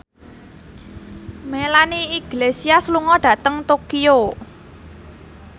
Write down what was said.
Melanie Iglesias lunga dhateng Tokyo